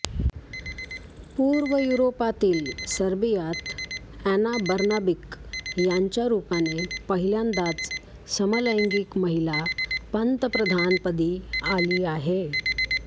पूर्व युरोपातील सर्बियात अॅना बर्नाबिक यांच्या रूपाने पहिल्यांदाच समलैंगिक महिला पंतप्रधानपदी आली आहे